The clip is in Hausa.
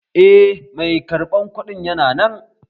Eh, mai karɓan kuɗin yana nan